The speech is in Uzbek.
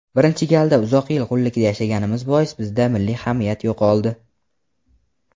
birinchi galda uzoq yil qullikda yashaganimiz bois bizda milliy hamiyat yo‘qoldi.